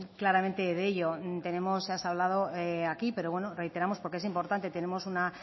claramente de ello ya se ha hablado aquí pero bueno reiteramos porque es importante tenemos una